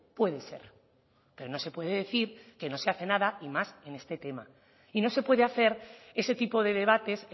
puede ser pero no se puede decir que no se hace nada y más en este tema y no se puede hacer ese tipo de debates